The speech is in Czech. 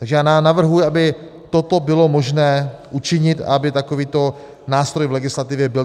Takže já navrhuji, aby toto bylo možné učinit a aby takovýto nástroj v legislativě byl.